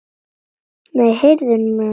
Nei, heyrðu mig nú!